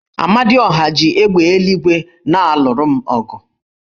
Amadiọha, chi égbè eluigwe na-alụru m ọgụ